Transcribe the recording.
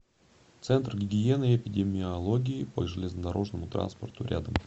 центр гигиены и эпидемиологии по железнодорожному транспорту рядом